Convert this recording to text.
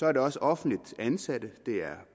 er det også offentligt ansatte det er